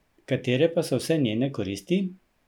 Katere pa so vse njene koristi?